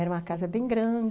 Era uma casa bem grande...